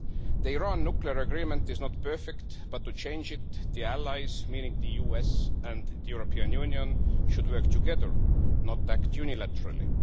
The Iran nuclear agreement is not perfect, but to change it, the allies meaning the US and the European Union should work together, not act unilaterally.